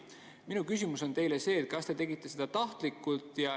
Minu küsimus on see, kas te tegite seda tahtlikult.